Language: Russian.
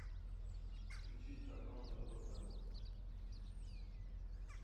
включить канал рбк